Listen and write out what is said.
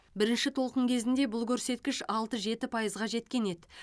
бірінші толқын кезінде бұл көрсеткіш алты жеті пайызға жеткен еді